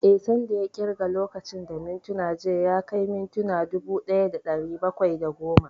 Eh, san da ya ƙirga lokacin da mintuna jiya ya kai mintuna dubu ɗaya da ɗari bakwai da goma